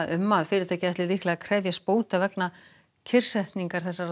um að fyrirtækið ætli líklega að krefjast bóta vegna kyrrsetningar þessarar